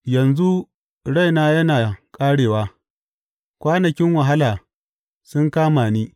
Yanzu raina yana ƙarewa; kwanakin wahala sun kama ni.